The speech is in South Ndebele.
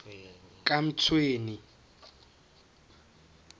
kamtshweni